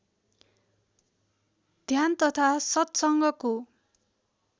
ध्यान तथा सत्सँगको